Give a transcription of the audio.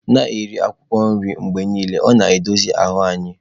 Na-eri akwụkwọ nri mgbe niile, ọ na-dozi ahụ anyị.